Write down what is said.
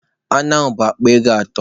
Anụ a bụ akpa ego atọ.